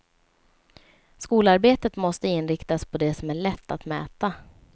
Skolarbetet måste inriktas på det som är lätt att mäta.